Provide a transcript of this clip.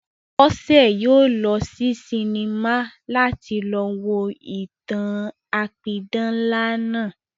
Bọ́sẹ̀ yóò lọ sí sinimá láti lọ wo ìtàn-an apidán ńlá náà